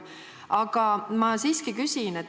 Aga ma siiski küsin.